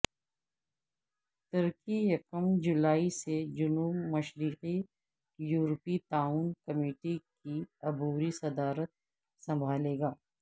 ترکی یکم جولائی سے جنوب مشرقی یورپی تعاون کمیٹی کی عبوری صدارت سنبھالے گا